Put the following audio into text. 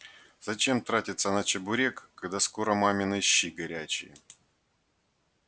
зачем тратиться на чебурек когда скоро мамины щи горячие